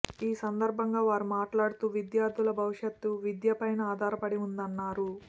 ఈ సందర్భంగా వారు మాట్లాడుతూ విద్యార్థుల భవిష్యత్తు విద్యపైనే ఆధారపడి ఉందన్నారు